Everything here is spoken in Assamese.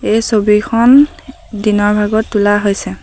এই ছবিখন দিনৰ ভাগত তোলা হৈছে।